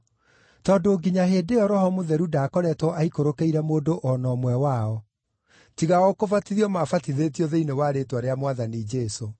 tondũ nginya hĩndĩ ĩyo Roho Mũtheru ndaakoretwo aikũrũkĩire mũndũ o na ũmwe wao; tiga o kũbatithio maabatithĩtio thĩinĩ wa rĩĩtwa rĩa Mwathani Jesũ.